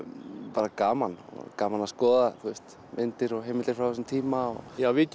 bara gaman gaman að skoða myndir og heimildir frá þessum tíma já við